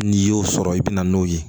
N'i y'o sɔrɔ i bɛ na n'o ye